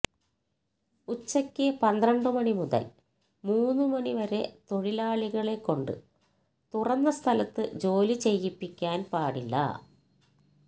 ഉച്ചയ്ക്ക് പന്ത്രണ്ട് മണി മുതല് മൂന്നു മണിവരെ തൊഴിലാളികളെ കൊണ്ട് തുറന്ന സ്ഥലത്ത് ജോലി ചെയ്യിപ്പിക്കാന് പാടില്ല